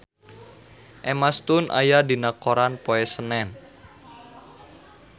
Emma Stone aya dina koran poe Senen